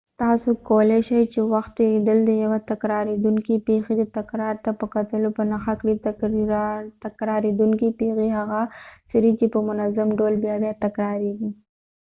تاسو کولای شي چې د وخت تیریدل ديوه تکراریدونکې پیښی د تکرار ته په کتلو په نښه کړي تکراریدونکې پیښی هغه څه دي چې په منظم ډول بیا بیا تکراریږی